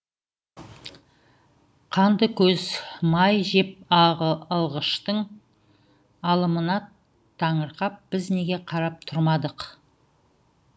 қанды көз май жеп алғыштың алымына таңырқап біз неге қарап тұрмадық